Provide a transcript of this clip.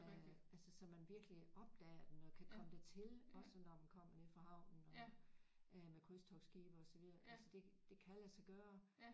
Øh altså så man virkelig opdager den og kan komme dertil også når man kommer nede fra havnen og er med krydstogtskibe og så videre altså det det kan lade sig gøre